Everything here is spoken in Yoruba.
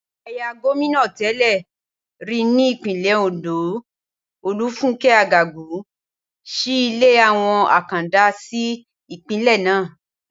Aya gómìnà té̩lè̩ rí ní Ìpínlè̩ Òǹdó, Olúfúnké̩ Àgàgú, s̩í ilé àwo̩n àkàndá sí ìpínlè̩̩ náà